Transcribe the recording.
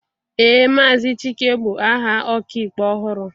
ee, Maazị Chike bụ aha ọkaikpe ọhụrụ